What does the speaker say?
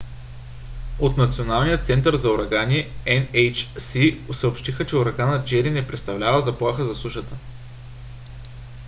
от националният център за урагани nhc съобщиха че ураганът джери не представлява заплаха за сушата